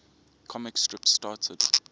comic strips started